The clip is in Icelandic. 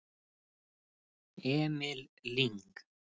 Emil Lyng